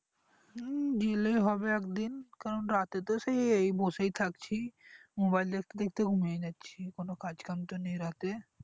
হুম জেলে হবে একদিন কারণ রাতে তো সেই বসে থাকছি mobile দেখতে দেখতে ঘুমিয়ে যাচ্ছি কোনো কাজ কাম তো নাই রাতে